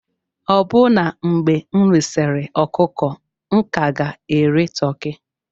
Ọbụna mgbe m risịrị ọkụkọ, m ka ga-eri toki.